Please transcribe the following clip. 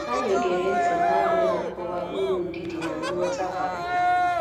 Anyị gere ntị na abu na-akọwa uru ndidi na nghọta bara